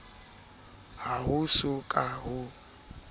ha ho so ka ho